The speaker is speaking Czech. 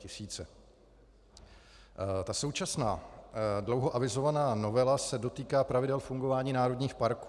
Ta současná dlouho avizovaná novela se dotýká pravidel fungování národních parků.